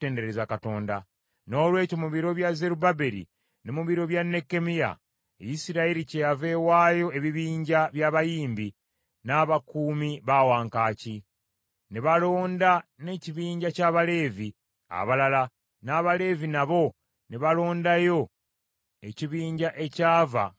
Noolwekyo mu biro bya Zerubbaberi ne mu biro bya Nekkemiya, Isirayiri kyeyava ewaayo ebibinja by’abayimbi n’abakuumi ba wankaaki. Ne balonda n’ekibinja ky’Abaleevi abalala, n’Abaleevi nabo ne balondayo ekibinja ekyava mu bazzukulu ba Alooni.